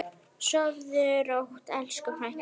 Sofðu rótt, elsku frænka.